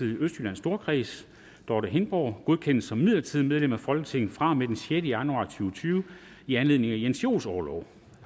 i østjyllands storkreds dorthe hindborg godkendes som midlertidigt medlem af folketinget fra og med den sjette januar to tusind og tyve i anledning af jens joels orlov